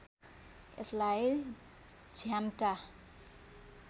यसलाई झ्याम्टा